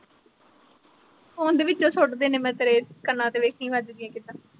phone ਵਿੱਚੋਂ ਸੁੱਟ ਦੇਣੇ ਮੈਂ ਤੇਰੇ ਕੰਨਾ ਤੇ ਵੇਖੀ ਵਜਦੀਆਂ ਕਿੱਦਾਂ